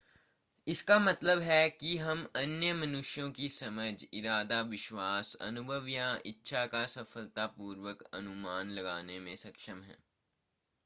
इसका मतलब है कि हम अन्य मनुष्यों की समझ इरादा विश्वास अनुभव या इच्छा का सफलतापूर्वक अनुमान लगाने में सक्षम हैं